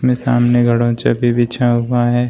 में सामने भी बिछा हुआ है।